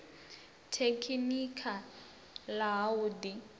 tekhinikha ḽa ha u ḓi